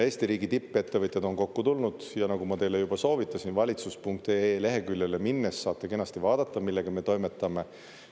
Eesti riigi tippettevõtjad on kokku tulnud ja nagu ma teile juba soovitasin, valitsus.ee leheküljele minnes saate kenasti vaadata, millega me toimetame.